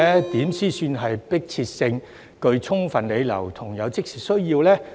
如何才算有迫切性、具充分理由和有即時需要呢？